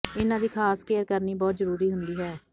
ਇਨ੍ਹਾਂ ਦੀ ਖਾਸ ਕੇਅਰ ਕਰਨੀ ਬਹੁਤ ਜ਼ਰੂਰੀ ਹੁੰਦੀ ਹੈ